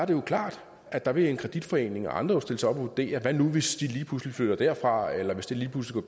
det jo klart at der vil en kreditforening og andre jo stille sig op og vurdere hvad nu hvis de lige pludselig flytter derfra eller hvis det lige pludselig